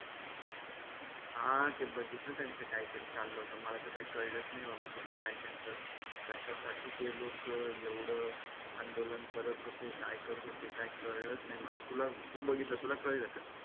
हां ते बघितल त्यांच काहीतरी चालल होतं मला तर काही कळलंच नाही बाबा ते काय त्यांचं कशासाठी ते लोक एवढ आंदोलन करत होते काय करत होते काय काळलच नाही मला तुला तू बघितलं तुला कळल का?